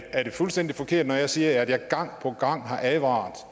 fuldstændig forkert når jeg siger at jeg gang på gang har advaret